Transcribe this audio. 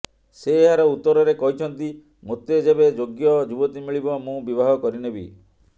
ସେ ଏହାର ଉତ୍ତରରେ କହିଛନ୍ତି ମୋତେ ଯେବେ ଯୋଗ୍ୟ ଯୁବତୀ ମିଳିବ ମୁଁ ବିବାହ କରିନେବି